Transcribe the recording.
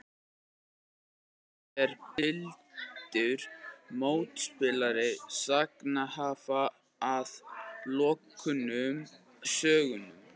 Í bridds er blindur mótspilari sagnhafa að loknum sögnum.